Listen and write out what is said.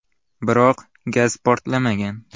Biroq gaz portlamagan.